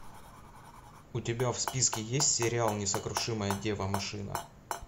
у тебя в списке есть сериал несокрушимая дева машина